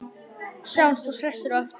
Sjáumst svo hressir á eftir.